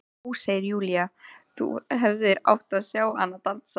Ó, segir Júlía, þú hefðir átt að sjá hana dansa!